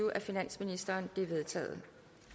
af finansministeren de er vedtaget